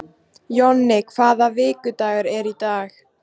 Jonni, hvaða vikudagur er í dag?